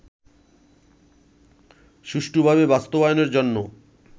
সুষ্ঠুভাবে বাস্তবায়নের জন্য